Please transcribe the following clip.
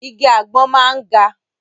Igi àgbọn máa ń ga.